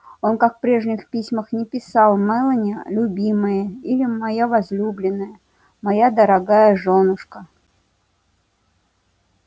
он как и в прежних письмах не писал мелани любимая или моя возлюбленная моя дорогая жёнушка